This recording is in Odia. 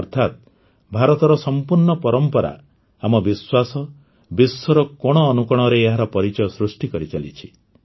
ଅର୍ଥାତ ଭାରତର ସମ୍ପୂର୍ଣ୍ଣ ପରମ୍ପରା ଆମ ବିଶ୍ୱାସ ବିଶ୍ୱର କୋଣ ଅନୁକୋଣରେ ଏହାର ପରିଚୟ ସୃଷ୍ଟି କରିଚାଲିଛି